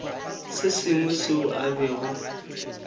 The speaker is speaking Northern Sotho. se sengwe seo a bego